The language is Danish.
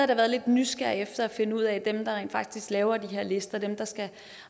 da været lidt nysgerrig efter at finde ud af hvordan dem der rent faktisk laver de her lister dem der